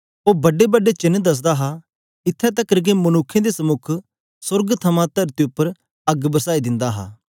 ओ बड्डे बड्डे चेन्न दसदा हा इत्थैं तकर के मनुक्खें दे समुक सोर्ग थमां तरती उपर अग्ग बरसाई दिंदा हा